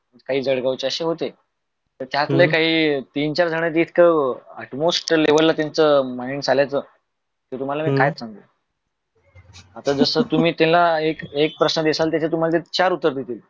काही जळगाव चे अस काही होते . त्यातले काही तीन चार झन इतके almost त्या लेवल ला त्यांचे mind चालायचं कि मी तुम्हाला काय सांगू. आता जस तुम्ही त्यांना एक प्रश्न द्याल त्यांचे ते चार उत्तर देतील.